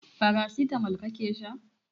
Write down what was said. Paracetamol kake sha?